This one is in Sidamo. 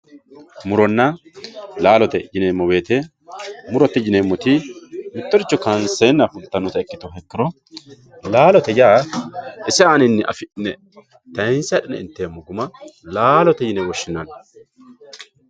muronna laalote yineemo woyiite murote yineemoti mittoricho kaanseena fultannota ikkitu ikkiro laalote ise aaninni afi'ne tayiinse adhine inteemo guma laalote yine woshshinanni.